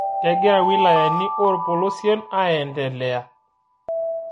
Kegira wilayani oolpolosien aeendelea